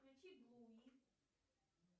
включи блуи